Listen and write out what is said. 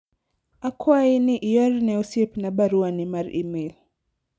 akwayi ni ior ne osiepna baruani mar email